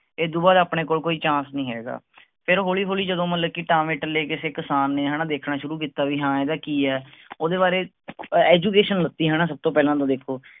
ਤੇ ਇਹਦੋਂ ਬਾਅਦ ਆਪਣੇ ਕੋਲ ਕੋਈ chance ਨੀ ਹੈਗਾ ਫੇਰ ਹੌਲੀ ਹੌਲੀ ਜਦੋਂ ਮਤਲਬ ਕੀ ਟਾਂਵੇ ਟਲੇ ਕਿਸੇ ਕਿਸਾਨ ਨੇ ਹੈਨਾ ਦੇਖਣਾ ਸ਼ੁਰੂ ਕਿੱਤਾ ਵੀ ਹਾਂ ਇਹਦਾ ਕੀ ਹੈ ਓਹਦੇ ਬਾਰੇ education ਲਿੱਤੀ ਹੈਨਾ ਸਬ ਤੋਂ ਪਹਿਲਾਂ ਤਾਂ ਦੇਖੋ